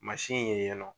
in ye nɔ